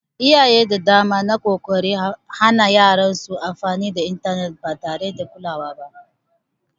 Iyaye da dama na ƙoƙarin hana yaran su amfani da intanet ba tare da kulawa ba